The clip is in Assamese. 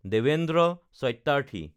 দেৱেন্দ্ৰ সত্যাৰ্থী